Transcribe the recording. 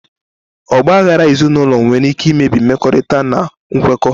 Ọgba aghara ezinụlọ nwere ike imebi mmekọrịta na nkwekọ.